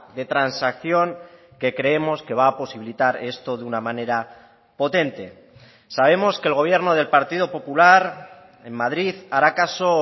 de transacción que creemos que va a posibilitar esto de una manera potente sabemos que el gobierno del partido popular en madrid hará caso